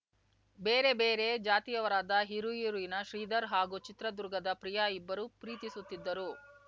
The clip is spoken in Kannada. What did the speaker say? ಬೇರೆ ಬೇರೆ ಜಾತಿಯವರಾದ ಹಿರುಯೂರಿನ ಶ್ರೀಧರ್‌ ಹಾಗೂ ಚಿತ್ರದುರ್ಗದ ಪ್ರಿಯಾ ಇಬ್ಬರು ಪ್ರೀತಿಸುತ್ತಿದ್ದರು